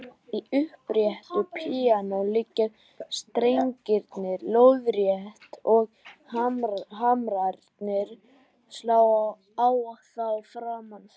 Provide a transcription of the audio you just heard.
Í uppréttu píanói liggja strengirnir lóðrétt og hamrarnir slá á þá framan frá.